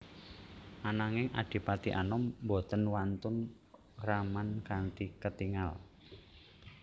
Ananging Adipati Anom boten wantun ngraman kanthi ketingal